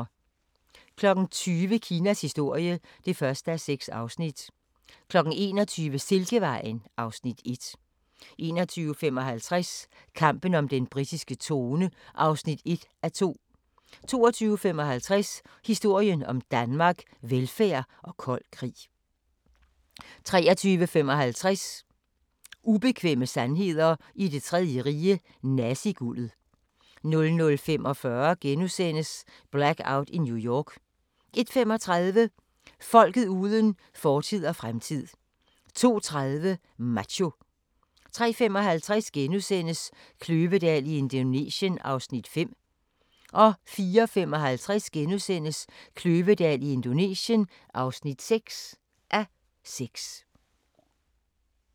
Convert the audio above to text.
20:00: Kinas historie (1:6) 21:00: Silkevejen (Afs. 1) 21:55: Kampen om den britiske trone (1:2) 22:55: Historien om Danmark: Velfærd og kold krig 23:55: Ubekvemme sandheder i Det Tredje Rige – naziguldet 00:45: Blackout i New York * 01:35: Folket uden fortid og fremtid 02:30: Macho 03:55: Kløvedal i Indonesien (5:6)* 04:55: Kløvedal i Indonesien (6:6)*